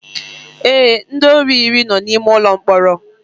Ee, ndị ori iri no na ime ụlọ mkpọrọ